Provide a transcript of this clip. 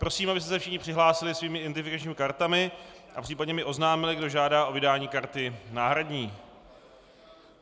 Prosím, abyste se všichni přihlásili svými identifikačními kartami a případně mi oznámili, kdo žádá o vydání karty náhradní.